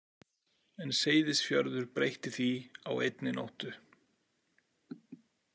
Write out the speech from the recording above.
En Seyðisfjörður breytti því á einni nóttu.